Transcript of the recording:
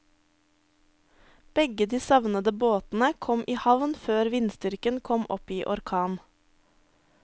Begge de savnede båtene kom i havn før vindstyrken kom opp i orkan.